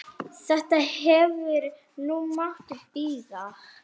Þetta hefði nú mátt bíða.